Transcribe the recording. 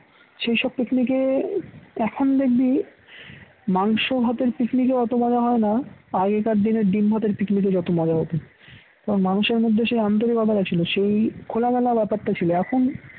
সেইসব picnic এ এখন দেখবি মাংস ভাতের picnic এও অত মজা হয় না আগেকার দিনের ডিম ভাতের picnic এ যত মজা হত কারণ মানুষের মধ্যে সেই আন্তরিকতাটা ছিল সেই খোলামেলা ব্যাপারটা ছিল এখন